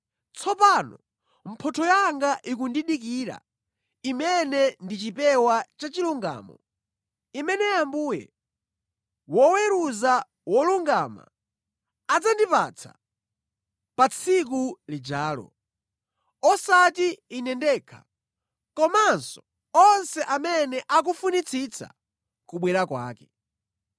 Tsopano mphotho yanga ikundidikira imene ndi chipewa cha chilungamo, imene Ambuye, woweruza wolungama, adzandipatsa pa tsiku lijalo, osati ine ndekha komanso onse amene akufunitsitsa kubwera kwake.